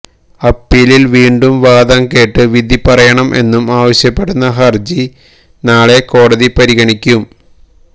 അപ്പീലില് വീണ്ടും വാദം കേട്ട് വിധി പറയണം എന്നും ആവശ്യപ്പെടുന്ന ഹർജി നാളെ കോടതി പരിഗണിക്കും